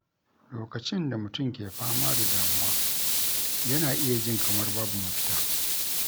Lokacin da mutum ke fama da damuwa, yana iya jin kamar babu mafita.